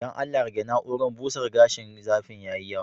Dan Allah rege na urar busar da gashin, zafin ya yi yawa.